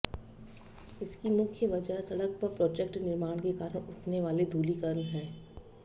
इसकी मुख्य वजह सड़क व प्रोजेक्ट निर्माण के कारण उठने वाले धूलिकण है